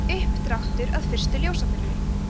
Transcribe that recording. uppdráttur að fyrstu ljósaperunni